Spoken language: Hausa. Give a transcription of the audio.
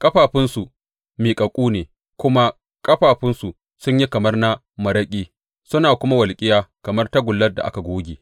Ƙafafunsu miƙaƙƙu ne; kuma ƙafafunsu sun yi kamar na maraƙi suna kuma walƙiya kamar tagullar da aka goge.